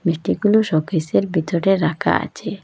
মিষ্টিগুলো শোকেসের ভিতরে রাখা আছে।